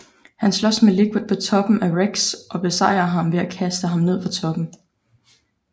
Han slås med Liquid på toppen af REX og besejrer ham ved at kaste ham ned fra toppen